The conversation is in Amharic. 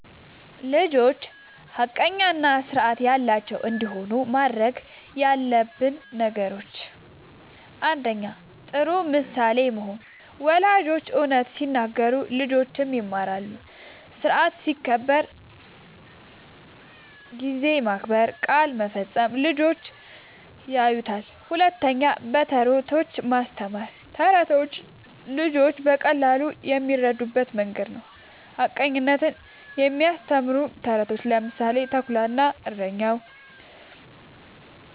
ልጆች ሐቀኛ እና ስርዓት ያላቸው እንዲሆኑ ማድረግ ያለብን ነገሮችን፦ ፩. ጥሩ ምሳሌ መሆን፦ ወላጆች እውነት ሲናገሩ ልጆችም ይማራሉ። ስርዓት ሲከበር (ጊዜ መከበር፣ ቃል መፈጸም) ልጆች ያዩታል። ፪. በተረቶች ማስተማር፦ ተረቶች ልጆች በቀላሉ የሚረዱበት መንገድ ነዉ። ሐቀኝነትን የሚያስተምሩ ተረቶችን (ምሳሌ፦ “ተኩላ እና እረኛው”)